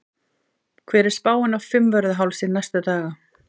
hver er spáin á fimmvörðuhálsi næstu daga